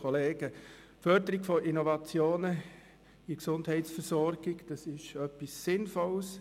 Die Förderung der Innovation in der Gesundheitsversorgung ist etwas Sinnvolles.